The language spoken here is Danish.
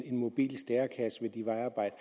en mobil stærekasse ved de vejarbejder